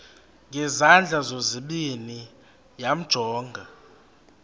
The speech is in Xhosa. ngezandla zozibini yamjonga